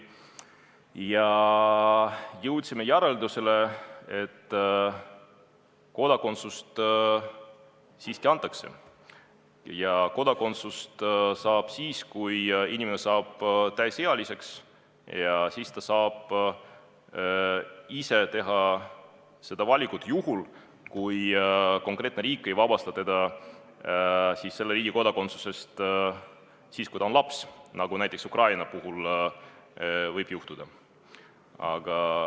Ja jõudsime järeldusele, et mis puutub kodakondsusse, siis kui inimene saab täisealiseks, ta teeb ise selle valiku, juhul kui konkreetne riik ei vabasta teda selle riigi kodakondsusest ajal, kui ta on laps, nagu Ukraina puhul on võimalik.